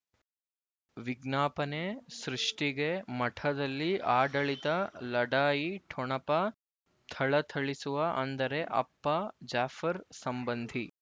ವಿಜ್ಞಾಪನೆ ಸೃಷ್ಟಿಗೆ ಮಠದಲ್ಲಿ ಆಡಳಿತ ಲಢಾಯಿ ಠೊಣಪ ಥಳಥಳಿಸುವ ಅಂದರೆ ಅಪ್ಪ ಜಾಫರ್ ಸಂಬಂಧಿ